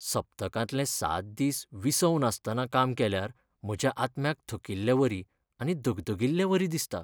सप्तकांतले सात दीस विसव नासतना काम केल्यार म्हज्या आत्म्याक थकिल्लेवरी आनी दगदगिल्लेवरी दिसता .